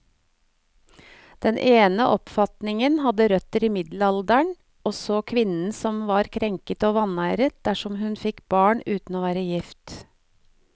Den ene oppfatningen hadde røtter i middelalderen, og så kvinnen som krenket og vanæret dersom hun fikk barn uten å være gift.